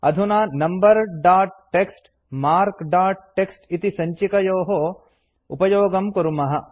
अधुना number dot TXT marks dot TXT इति सञ्चिकयोः उपयोगं कुर्मः